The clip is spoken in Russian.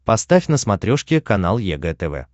поставь на смотрешке канал егэ тв